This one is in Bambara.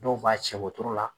Dɔw b'a cɛ wotoro la.